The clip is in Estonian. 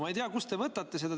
Ma ei tea, kust te võtate seda.